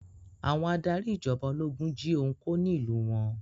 Àwọn adarí ìjọba ológun jí ohun kó ní ìlú wọn.